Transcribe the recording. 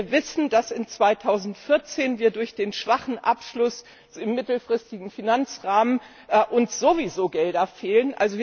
Wir wissen, dass uns 2014 durch den schwachen Abschluss im mittelfristigen Finanzrahmen sowieso Gelder fehlen.